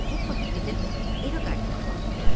Puxla Piqletin evə qayıtmaq vaxtı gəldi.